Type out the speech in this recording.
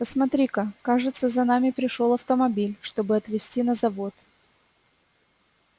посмотри-ка кажется за нами пришёл автомобиль чтобы отвезти на завод